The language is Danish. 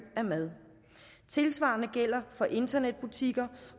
af mad tilsvarende gælder for internetbutikker